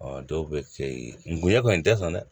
dɔw bɛ kɛ ye ngunɲɛ kɔni tɛ san dɛ